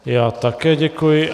Já také děkuji.